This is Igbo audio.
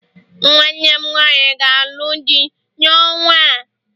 nwanne m nwanyi ga-alụ di n'ọnwa a